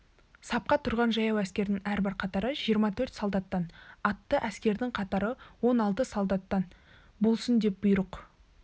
сапқа тұрған жаяу әскердің әрбір қатары жиырма төрт солдаттан атты әскердің қатары он алты солдаттан болсын деп бұйрық